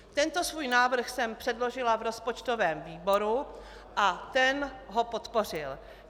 Tento svůj návrh jsem předložila v rozpočtovém výboru a ten ho podpořil.